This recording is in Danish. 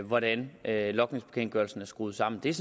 hvordan logningsbekendtgørelsen er skruet sammen det er